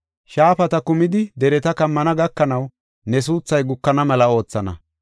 Shaafata kumidi dereta kammana, gakanaw, ne suuthay gukana mela oothana.